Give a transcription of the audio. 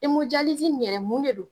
in yɛrɛ mun de don?